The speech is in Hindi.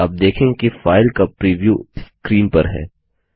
आप देखेंगे कि फाइल का प्रिव्यू स्क्रीन पर है